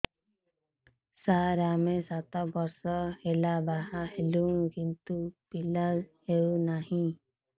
ସାର ଆମେ ସାତ ବର୍ଷ ହେଲା ବାହା ହେଲୁଣି କିନ୍ତୁ ପିଲା ହେଉନାହିଁ